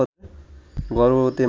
গর্ভবতী মা